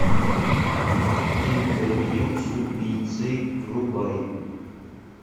интервью с убийцей врубай